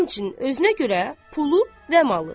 Həmçinin özünə görə pulu və malı.